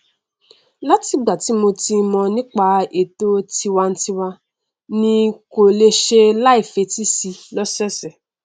láti ìgbà tí mo ti mọn nípa ètò tiwantiwa ni n kò lè ṣàì fetísí i lọsọọsẹ